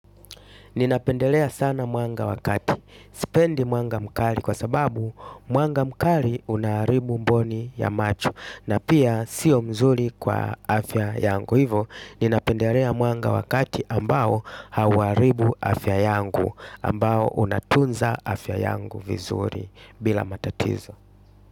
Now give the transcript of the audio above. Ninapendelea sana mwanga wa kati. Sipendi mwanga mkali kwa sababu mwanga mkali unaharibu mboni ya macho. Na pia sio mzuri kwa afya yangu hivo. Ninapendelea mwanga wakati ambao hauharibu afya yangu. Ambao unatunza afya yangu vizuri bila matatizo.